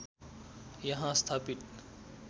यहाँ स्थापित